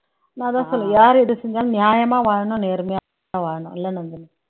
நான் அதான் சொல்லுவேன் யாரு எத செஞ்சாலும் நியாயமா வாழணும் நேர்மையா வாழணும் இல்ல